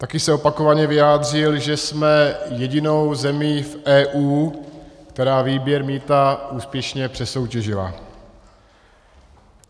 Také se opakovaně vyjádřil, že jsme jedinou zemí v EU, která výběr mýta úspěšně přesoutěžila.